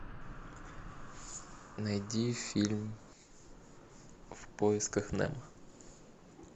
найди фильм в поисках немо